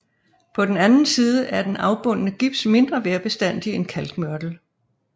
På den anden side er den afbundne gips mindre vejrbestandig end kalkmørtel